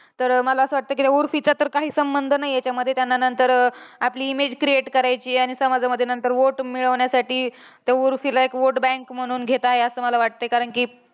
तर मला असं वाटतं, कि त्या उर्फीचा तर काही संबंध नाहीये, त्या मतदाननंतर आपली image create करायची. आणि समाजामध्ये नंतर vote मिळवण्यासाठी, त्या उर्फीला vote bank म्हणून घेताय. असं मला वाटतंय. कारण कि